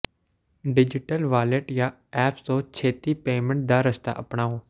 digital wallet ਜਾਂ apps ਤੋਂ ਛੇਤੀ ਪੇਮੈਂਟ ਦਾ ਰਸਤਾ ਅਪਣਾਓ